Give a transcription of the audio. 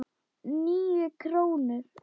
Níu krónur?